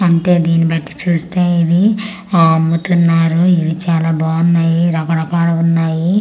అంటే దీని పట్టి చూస్తే ఇది ఆ అమ్ముతున్నారు ఇది చాలా బాన్నాయి రకరకాలుగున్నాయి.